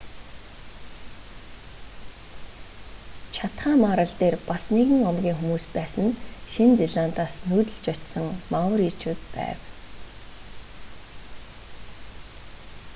чатхам арал дээр бас нэгэн омгийн хүмүүс байсан нь шинэ зеландаас нүүдлэж очсон мауричууд байв